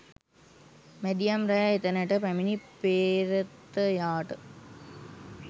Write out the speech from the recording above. මැදියම් රෑ එතැනට පැමිණි පේ්‍රතයාට